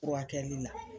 Furakɛli la